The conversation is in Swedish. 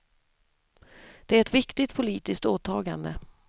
Det är ett viktigt politiskt åtagande.